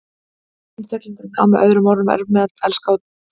Einstaklingurinn á með öðrum orðum erfitt með að elska sjálfan sig.